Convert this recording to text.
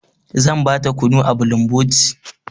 Zan ba ta kunu a bulumboti.